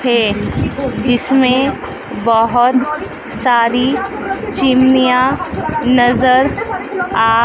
है जीसमें बहोत सारी चिमानिया नजर आ--